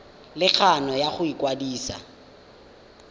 le kgano ya go ikwadisa